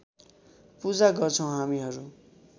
पूजा गर्छौं हामीहरू